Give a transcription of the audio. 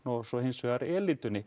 og hins vegar